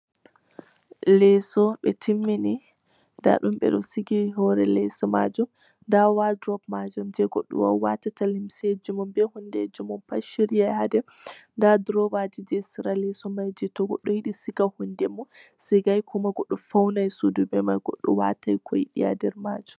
Leso ɓe timmini nda ɗum be sigi hore leso majum, nda wadrop majum je goɗɗo wawwata ta limseji mun be hunde ji mun pat ha shiryai ha nder, nda durowa je sera leso mai je goɗɗo sigai hundeji mum to sigai kuma faunirai be majum.